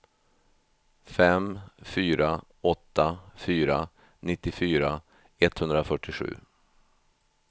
fem fyra åtta fyra nittiofyra etthundrafyrtiosju